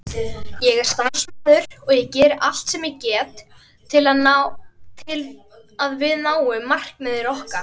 Ég er starfsmaður og geri allt sem ég get til að við náum markmiðum okkar.